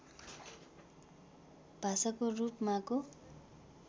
भाषाको रूप माको